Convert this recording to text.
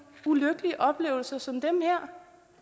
ulykkelige oplevelser som dem her